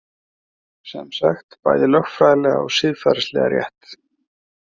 Semsagt bæði lögfræðilega og siðferðislega rétt